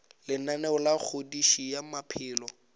lenaneo la kgodišo ya maphelo